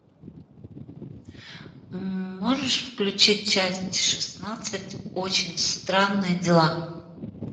можешь включить часть шестнадцать очень странные дела